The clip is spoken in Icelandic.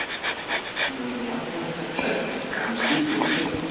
Hún verður andartak hrædd: Ef hann skyldi nú hlaupa.